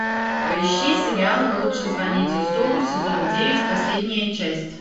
поищи сериал лучше звоните солу сезон девять последняя часть